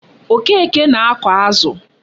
Okeke na-ako azu